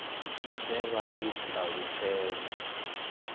i de vha i talutshedze